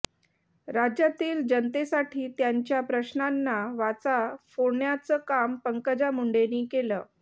राज्यातील जनतेसाठी त्यांच्या प्रश्नांना वाचा फोडण्याचं काम पंकजा मुंडेंनी केलं